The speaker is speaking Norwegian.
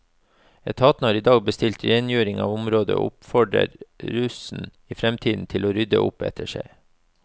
Etaten har i dag bestilt rengjøring av området, og oppfordrer russen i fremtiden til å rydde opp etter seg.